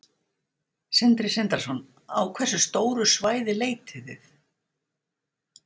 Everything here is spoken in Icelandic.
Sindri Sindrason: Á hversu stóru svæði leitið þið?